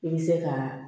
I bɛ se ka